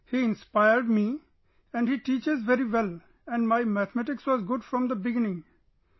He inspired me, taught me very well and my mathematics was good from the beginning...